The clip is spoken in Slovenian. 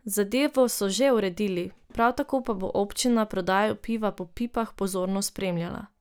Zadevo so že uredili, prav tako pa bo občina prodajo piva po pipah pozorno spremljala.